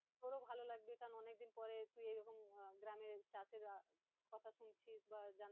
তোরও ভালো লাগবে কারণ অনেকদিন পরে তুই এইরকম আহ গ্রামে চাষের আহ কথা সাথে শুনছিস বা